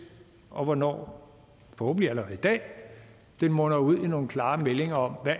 og for hvornår forhåbentlig allerede i dag den munder ud i nogle klare meldinger om